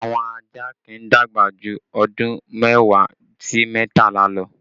Àwọn ajá kì í dàgbà jù ọdún mẹ́wàá sí mẹ́tàlá lọ